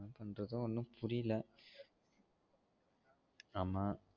என்ன பண்றது ஒன்னும் புரியல ஆமா